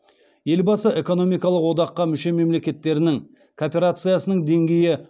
елбасы экономикалық одаққа мүше мемлекеттерінің кооперациясының деңгейі